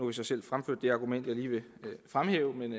vi så selv fremført det argument jeg lige vil fremhæve men